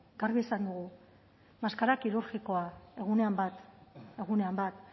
garbi esan dugu maskara kirurgikoa egunean bat egunean bat